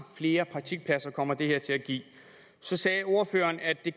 flere praktikpladser kommer det her konkret til at give så sagde ordføreren at det